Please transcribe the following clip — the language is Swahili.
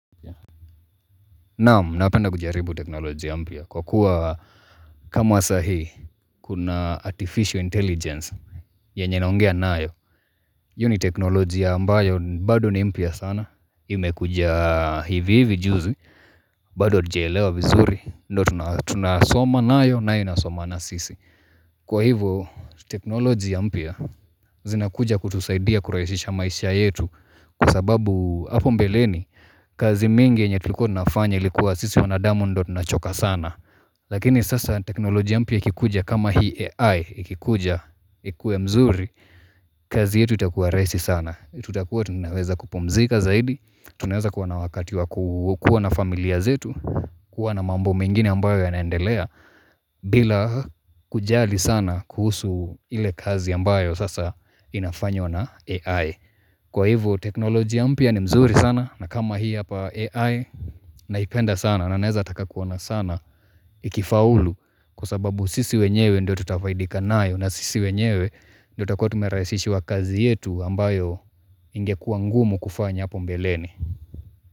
Naam, napenda kujaribu teknolojia mpya kwa kuwa kama saa hii kuna artificial intelligence yenye naongea nayo. Hio ni teknolojia ambayo bado ni mpya sana. Imekuja hivi hivi juzi bado hatujaelewa vizuri. Ndo tunasoma nayo na inasoma na sisi. Kwa hivo, teknolojia mpya zinakuja kutusaidia kurahisisha maisha yetu Kwa sababu hapo mbeleni kazi mingi enye tulikuwa tunafanya ilikuwa sisi wanadamu ndio tunachoka sana Lakini sasa teknolojia mpya ikikuja kama hii AI ikikuja, ikuwe mzuri kazi yetu itakuwa rahisi sana tutakuwa tunaweza kupumzika zaidi Tunaweza kuwa na wakati wa kuwa na familia zetu kuwa na mambo mengine ambayo yanaendelea bila kujali sana kuhusu ile kazi ambayo sasa inafanywa na AI Kwa hivyo teknolojia mpya ni mzuri sana na kama hii hapa AI naipenda sana na naeza taka kuona sana ikifaulu kusababu sisi wenyewe ndio tutafaidika nayo na sisi wenyewe ndio takakuwa tumerahisishiwa kazi yetu ambayo ingekua ngumu kufanya hapo mbeleni.